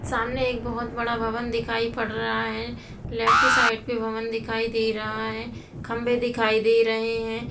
सामने एक बहुत बड़ा भवन दिखाई पड़ रहा है| लेफ्ट साइड पे भवन दिखाई दे रहा है खंबे दिखाई दे रहे हैं।